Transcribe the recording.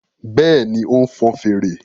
Bẹ́ẹ̀ni, ó ń fọn fèrè